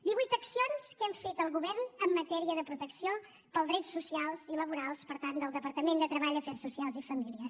divuit accions que hem fet el govern en matèria de protecció pels drets socials i laborals per tant del departament de treball afers socials i famílies